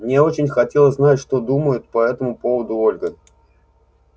мне очень хотелось знать что думает по этому поводу ольга